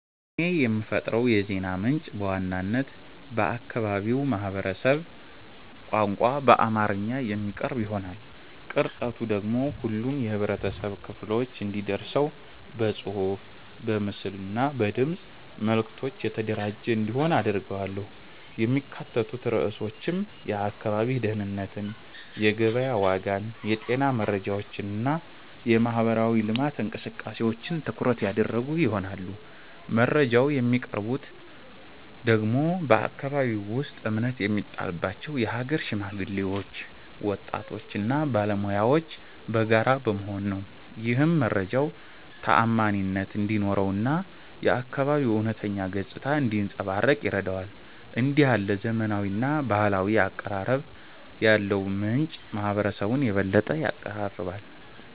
እኔ የምፈጥረው የዜና ምንጭ በዋናነት በአካባቢው ማህበረሰብ ቋንቋ በአማርኛ የሚቀርብ ይሆናል። ቅርጸቱ ደግሞ ሁሉም የህብረተሰብ ክፍሎች እንዲደርሰው በጽሑፍ፣ በምስል እና በድምፅ መልዕክቶች የተደራጀ እንዲሆን አደርጋለሁ። የሚካተቱት ርዕሶችም የአካባቢ ደህንነትን፣ የገበያ ዋጋን፣ የጤና መረጃዎችን እና የማህበራዊ ልማት እንቅስቃሴዎችን ትኩረት ያደረጉ ይሆናሉ። መረጃውን የሚያቀርቡት ደግሞ በአከባቢው ውስጥ እምነት የሚጣልባቸው የሀገር ሽማግሌዎች፣ ወጣቶች እና ባለሙያዎች በጋራ በመሆን ነው። ይህም መረጃው ተዓማኒነት እንዲኖረው እና የአካባቢው እውነተኛ ገጽታ እንዲያንጸባርቅ ይረዳዋል። እንዲህ ያለ ዘመናዊና ባህላዊ አቀራረብ ያለው ምንጭ ማህበረሰቡን የበለጠ ያቀራርባል።